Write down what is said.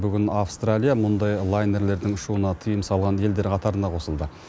бүгін австралия мұндай лайнерлердің ұшуына тыйым салған елдер қатарына қосылды